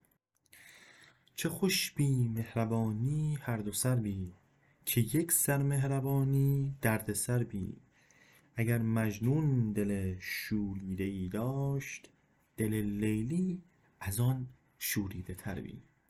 چه خوش بی مهربانی هر دو سر بی که یک سر مهربانی دردسر بی اگر مجنون دل شوریده ای داشت دل لیلی از آن شوریده تر بی